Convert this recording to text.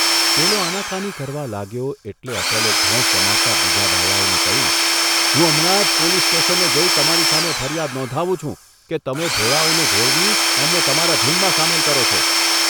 પેલો આનાકાની કરવા લાગ્યો એટલે અટલે ધોંસ જમાવતા બીજા બાવાઓને કહ્યું, ' હું હમણાં જ પોલીસ સ્ટેશને જઇ તમારી સામે ફરિયાદ નોંધાવું છું કે તમે ભોળાંઓને ભોળવી એમને તમારા ઝૂંડમાં સામેલ કરો છો.